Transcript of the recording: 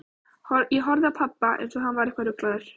Ég horfði á pabba, einsog hann væri eitthvað ruglaður.